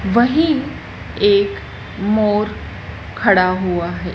वही एक मोर खड़ा हुआ है।